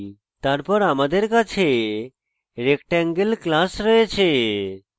তারপর আমাদের কাছে rectangle class রয়েছে